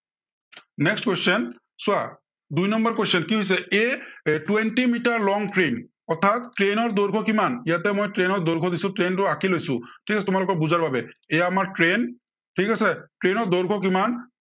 next question চোৱা, দুই number question কি হৈছে এৰ twenty মিটাৰ long train অৰ্থাত train ৰ দৈৰ্ঘ্য় কিমান, ইয়াতে মই train ৰ দৈৰ্ঘ্য় দিছো, train টো আঁকি লৈছো, ঠিক আছে তোমালোকৰ বুজাৰ বাবে, এইয়া আমাৰ train ঠিক আছে। train ৰ দৈৰ্ঘ্য কিমান